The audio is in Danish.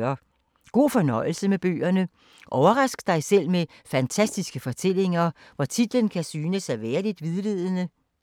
God fornøjelse med bøgerne. Overrask dig selv med fantastiske fortællinger, hvor titlen kan synes at være lidt vildledende.